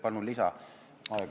Palun lisaaega!